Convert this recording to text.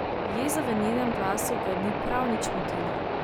Jeza v njenem glasu ga ni prav nič motila.